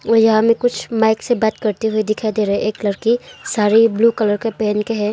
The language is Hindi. और यहां में कुछ माइक से बात करते हुए दिखाई दे रहा हैं एक लड़की साड़ी ब्ल्यू कलर का पहन के हैं।